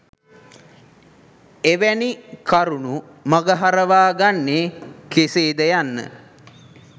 එවැනි කරුණු මග හරවා ගන්නේ කෙසේද යන්න